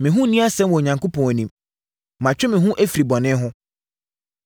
Me ho nni asɛm wɔ Onyankopɔn anim; matwe me ho afiri bɔne ho.